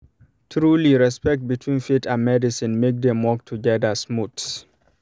trulyrespect between faith and medicine make dem work together smooth